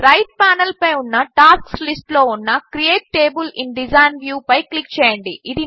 right ప్యానెల్పై ఉన్న tasks లిస్ట్లో ఉన్న create table in design view పై క్లిక్ చేయండి